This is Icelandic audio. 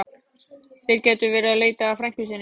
Þeir gætu verið að leita að frænku sinni.